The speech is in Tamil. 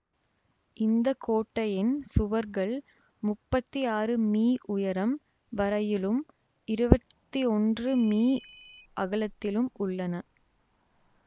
இந்த கோட்டையின் சுவர்கள் முப்பத்தி ஆறு மீ உயரம் வரையிலும் இருவத்தி ஒன்று மீ அகலத்திலும் உள்ளன